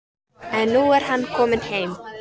En nú er hann kominn heim.